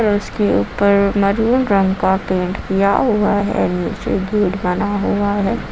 उसके ऊपर मैरून रंग का पेंट किया हुआ है नीचे गेट बना हुआ है।